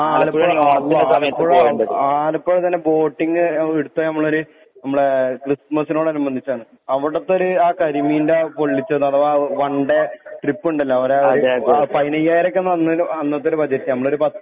ആലപ്പുഴ അള്ളാഹ്‌ ആലപ്പുഴ ആലപ്പുഴ ബോട്ടിങ്ങ് ന എടുത്ത ഞമ്മളൊര് ഞമ്മളെ ക്രിസ്മസിനോട് അനുബന്ധിച്ചാണ് അവടത്തൊര് ആ കരിമീൻ്റെ ആ പൊള്ളിച്ചത് ആ വൺഡേ ട്രിപ്പ്ണ്ടല്ലോ ഓരെ പയിനയ്യായിരൊക്കെ അന്ന് വന്നലു അന്നത്തൊരു ബജറ്റ് ഞമ്മളൊരു